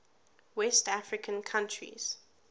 west african countries